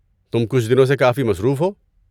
تم کچھ دنوں سے کافی مصروف ہو۔